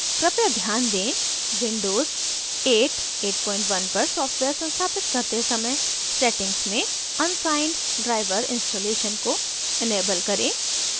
कृपया ध्यान दें windows 8/81 पर सॉफ्टवेयर संस्थापित करते समय settings में unsigned driver installation को enable सक्षम करें